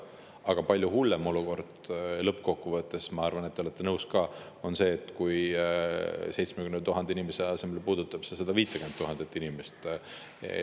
Aga palju hullem olukord lõppkokkuvõttes – ma arvan, et te olete nõus – oleks see, kui puudutaks 70 000 inimese asemel 150 000 inimest.